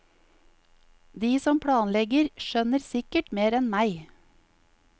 De som planlegger, skjønner sikkert mer enn meg.